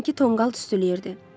Dünənki tonqal hüsüleyirdi.